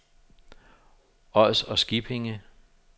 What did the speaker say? Ods og Skippinge